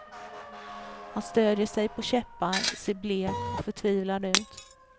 Han stödjer sig på käppar, ser blek och förtvivlad ut.